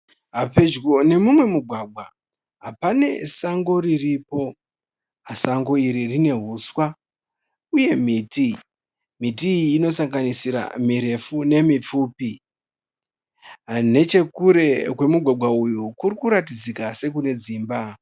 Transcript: Pedyo nemumwe mugwagwa pane sango riripo. Sango iri rine huswa uye miti. Miti iyi inosanganisira mirefu nemipfupi. Nechekure kwemugwagwa uyu kuri kuratidzika sekune dzimba.